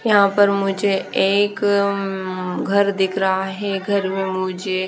यहाँ पर मुझे एक अम्म घर दिख रहा है घर में मुझे--